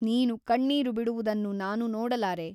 ನೀನು ಕಣ್ಣೀರು ಬಿಡುವುದನ್ನು ನಾನು ನೋಡಲಾರೆ.